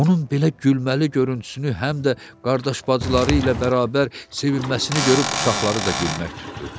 Onun belə gülməli görüntüsünü həm də qardaş-bacıları ilə bərabər sevinməsini görüb uşaqları da gülmək tutdu.